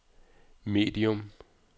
medium